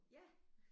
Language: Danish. Ja